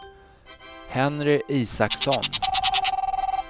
Henry Isaksson